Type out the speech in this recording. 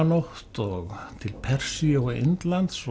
nótt og til Persíu og Indlands